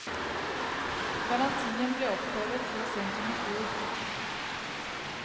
Garantien ble opphevet så sent som i fjor.